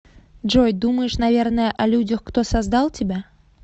джой думаешь наверное о людях кто создал тебя